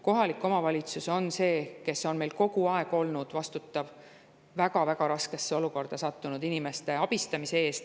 Kohalik omavalitsus on see, kes on meil kogu aeg olnud vastutav väga-väga raskesse olukorda sattunud inimeste abistamise eest.